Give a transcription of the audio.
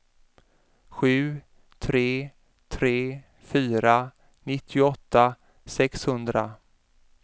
sju tre tre fyra nittioåtta sexhundra